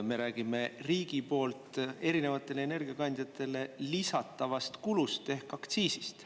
Me räägime riigi poolt erinevatele energiakandjatele lisatavast kulust ehk aktsiisist.